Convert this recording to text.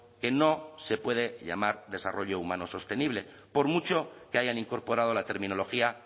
que no se puede llamar desarrollo humano sostenible por mucho que hayan incorporado la terminología